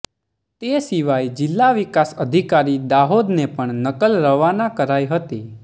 તે સિવાય જિલ્લા વિકાસ અધિકારી દાહોદને પણ નકલ રવાના કરાઇ હતી